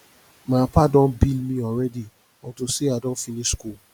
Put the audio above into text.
my papa don dey bill me already unto say i don finish school